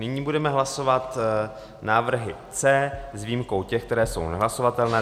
Nyní budeme hlasovat návrhy C s výjimkou těch, které jsou nehlasovatelné.